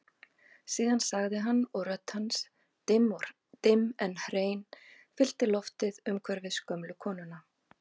Síðan sagði hann og rödd hans dimm en hrein fyllti loftið umhverfis gömlu konuna